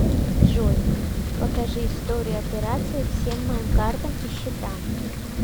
джой покажи историю операции всем моим картам и счетам